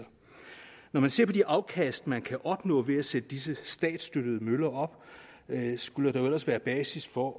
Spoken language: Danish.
når man ser på de afkast man kan opnå ved at sætte disse statsstøttede møller op skulle der jo ellers være basis for